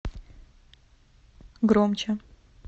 громче